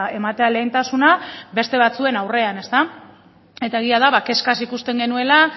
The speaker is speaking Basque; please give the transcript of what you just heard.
ematea lehentasuna beste batzuen aurrean eta egia da kezkaz ikusten genuela